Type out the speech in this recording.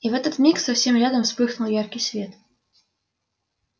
и в этот миг совсем рядом вспыхнул яркий свет